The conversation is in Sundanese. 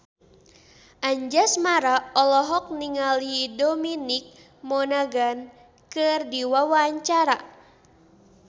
Anjasmara olohok ningali Dominic Monaghan keur diwawancara